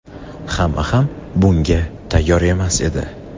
hamma ham bunga tayyor emas edi.